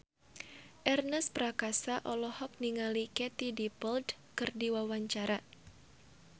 Ernest Prakasa olohok ningali Katie Dippold keur diwawancara